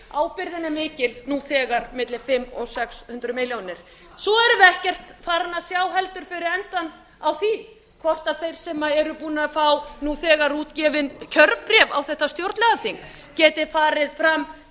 ábyrgð er mikil nú þegar milli fimm hundruð og sex hundruð milljónir svo erum við ekkert farin að sjá heldur fyrir endann á því hvort þeir sem eru búnir að fá nú þegar útgefin kjörbréf á þetta stjórnlagaþing geti farið fram